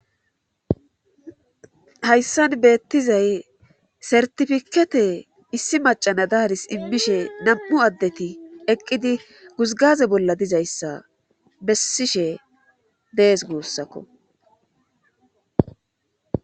hayssan beettizay sertifikete issi macana daaris immishe nam7u addeti eqqidi guzgaze bolla dizayssa bessishe dees guussakko